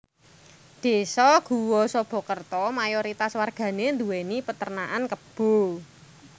Désa Guwosobokerto mayoritas wargane nduweni Peternakan Kebo